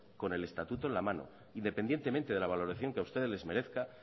con el estatuto en la mano independientemente de la valoración que a ustedes les merezca